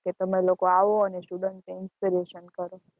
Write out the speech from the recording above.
કે તમે લોકો આવો અને student ને inspiration કરો